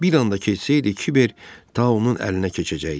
Bir anda ketsəydi kiber taunun əlinə keçəcəkdi.